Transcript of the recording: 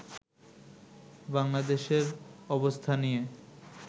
বাংলাদেশের অবস্থা নিয়ে